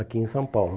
Aqui em São Paulo.